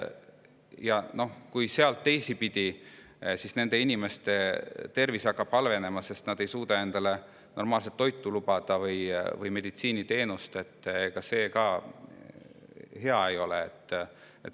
Ja kui nende inimeste tervis hakkab halvenema, sest nad ei suuda endale normaalset toitu või meditsiiniteenust lubada, siis ega see ka hea ei ole.